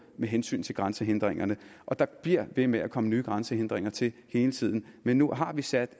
med hensyn til grænsehindringerne der bliver ved med at komme nye grænsehindringer til hele tiden men nu har vi sat